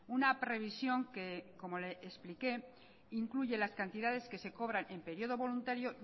una previsión que como le expliqué incluye las cantidades que se cobran en periodo voluntario